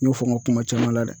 N y'o fɔ n ka kuma caman la dɛ